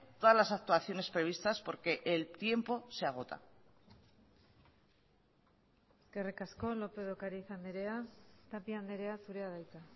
todas las actuaciones previstas porque el tiempo se agota eskerrik asko lópez de ocariz andrea tapia andrea zurea da hitza